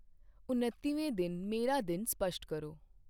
ਉੱਨਤੀਵੇਂ ਦਿਨ ਮੇਰਾ ਦਿਨ ਸਪੱਸ਼ਟ ਕਰੋ